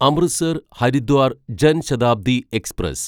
Amritsar Haridwar Jan Shatabdi express